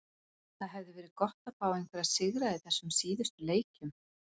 Það hefði verið gott að fá einhverja sigra í þessum síðustu leikjum.